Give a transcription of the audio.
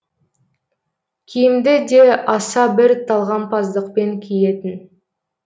киімді де аса бір талғампаздықпен киетін